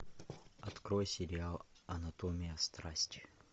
открой сериал анатомия страсти